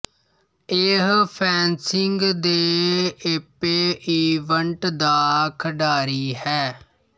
ਉਹ ਫੈਨਸਿੰਗ ਦੇ epee event ਦਾ ਖਿਡਾਰੀ ਹੈ